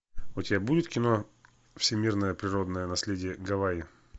у тебя будет кино всемирное природное наследие гавайи